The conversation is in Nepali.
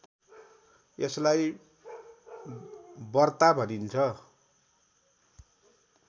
यसलाई बर्ता भनिन्छ